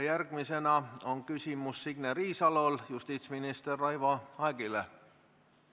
Järgmisena on Signe Riisalol küsimus justiitsminister Raivo Aegile.